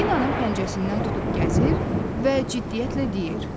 Dinanın pəncəsindən tutub gəzir və ciddiyyətlə deyir.